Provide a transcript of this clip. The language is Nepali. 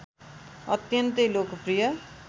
अत्यन्तै लोकप्रिय